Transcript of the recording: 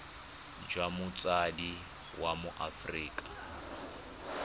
jwa motsadi wa mo aforika